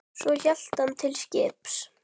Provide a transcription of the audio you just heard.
Svo hélt hann til skips.